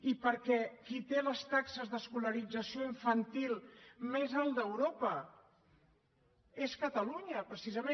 i perquè qui té les taxes d’escolarització infantil més altes d’europa és catalunya precisament